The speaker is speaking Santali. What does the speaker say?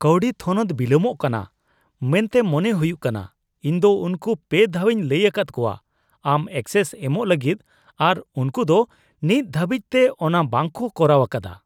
ᱠᱟᱹᱣᱰᱤ ᱛᱷᱚᱱᱚᱛ ᱵᱤᱞᱚᱢᱚᱜ ᱠᱟᱱᱟ ᱢᱮᱱᱛᱮ ᱢᱚᱱᱮ ᱦᱩᱭᱩᱜ ᱠᱟᱱᱟ ᱾ ᱤᱧ ᱫᱚ ᱩᱝᱠᱩ ᱓ ᱫᱷᱟᱣᱤᱧ ᱞᱟᱹᱭ ᱟᱠᱟᱫ ᱠᱚᱣᱟ ᱟᱢ ᱮᱠᱥᱮᱥ ᱮᱢᱚᱜ ᱞᱟᱹᱜᱤᱫ ᱟᱨ ᱩᱝᱠᱩ ᱫᱚ ᱱᱤᱛ ᱫᱷᱟᱹᱵᱤᱡᱛᱮ ᱚᱱᱟ ᱵᱟᱝᱠᱚ ᱠᱚᱨᱟᱣ ᱟᱠᱟᱫᱟ ᱾